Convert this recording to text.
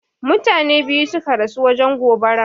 Mutane ɓiyu suƙa rasu wajen goɓaran.